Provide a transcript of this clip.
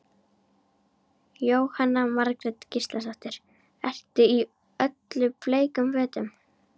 Jóhanna Margrét Gísladóttir: Ertu í öllum bleikum fötum?